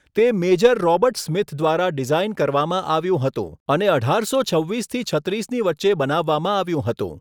તે Major Robert Smith દ્વારા design કરવામાં આવ્યું હતું અને અઢારસો છવ્વીસ થી છત્રીસની વચ્ચે બનાવવામાં આવ્યું હતું.